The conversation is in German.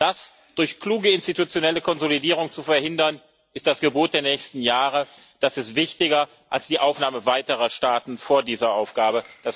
Das durch kluge institutionelle Konsolidierung zu verhindern, ist das Gebot der nächsten Jahre. Das ist wichtiger, als die Aufnahme weiterer Staaten vor dieser Aufgabe